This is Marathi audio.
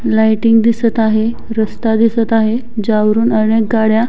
लायटिंग दिसत आहे रस्ता दिसत आहे ज्यावरून अनेक गाड्या --